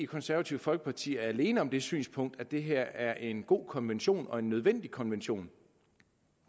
konservative folkeparti er alene om det synspunkt at det her er en god konvention og en nødvendig konvention